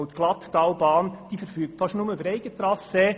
die Glatttalbahn verfügt nämlich fast ausschliesslich über Eigentrassee.